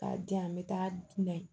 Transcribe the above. K'a di yan n bɛ taa dunan